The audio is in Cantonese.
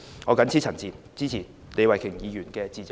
我謹此陳辭，支持李慧琼議員的致謝議案。